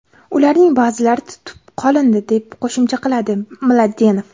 Ularning ba’zilari tutib qolindi”, deb qo‘shimcha qiladi Mladenov.